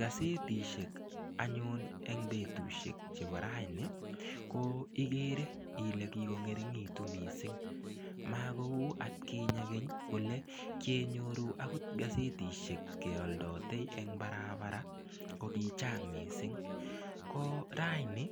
Gazetishek anyun eng betushek chebo raini ko igere ile kikongeringitu mising makou atkinye keny ole kienyoru akot gazetishek kealdotei eng parapara ko kichang mising ko raini